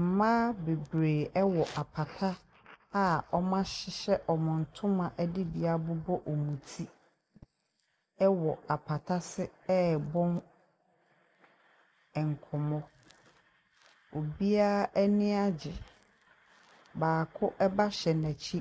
Mmaa beberee ɛwɔ apata a ɔmo ahyehyɛ ɔmo ntoma ɛde bi abobɔ ɔmo ti ɛwɔ apata se ɛbɔ nkɔmmɔ. Obiaa ani agye. Baako ɛba hyɛ n'akyi